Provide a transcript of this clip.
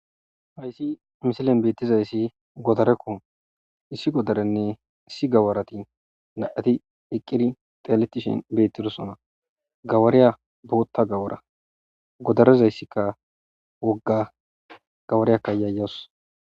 Hayssi misilen beettizayssi godarekko issi godarenne issi gawarati naati eqqiri teletishin beettidosona gawariya bootta gawara godarezayssikka wogga gawariyakka yaayos.